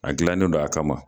A gilannen do a kama.